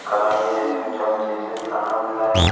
कढ़ाई है इसमें चमचे से खाना बन रहा है।